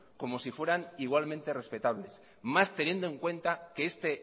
como si fueran igualmente respetables más teniendo en cuenta que este